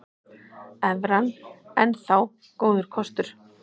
Evran enn þá góður kostur